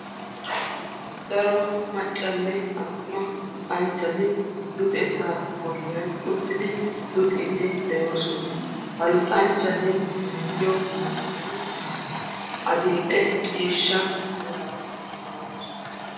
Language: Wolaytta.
dara maccanne attuma luxanchchati luxetta golliyaan uttidi luxiddi de'oosona; ha luxanchchati diyo sohoy adl"e ciishsha mera maayyidoosona.